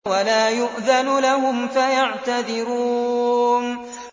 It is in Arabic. وَلَا يُؤْذَنُ لَهُمْ فَيَعْتَذِرُونَ